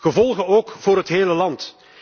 Gevolgen ook voor het hele land.